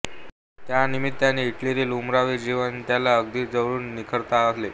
त्या निमित्ताने इटलीतील उमरावी जीवन त्याला अगदी जवळून निरखता आले